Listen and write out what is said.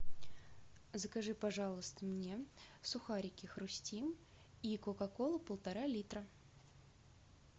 закажи пожалуйста мне сухарики хрустим и кока колу полтора литра